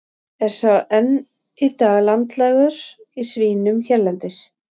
Er sá enn í dag landlægur í svínum hérlendis.